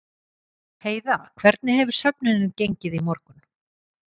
Heiða, hvernig hefur söfnunin gengið í morgun?